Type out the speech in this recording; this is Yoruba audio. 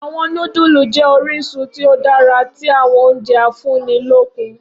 Awọn nudulu jẹ orisun ti o dara ti awọn ounje afunnilokun.